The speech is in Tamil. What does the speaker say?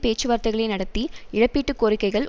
பேச்சுவார்த்தைகளை நடத்தி இழப்பீட்டு கோரிக்கைகள்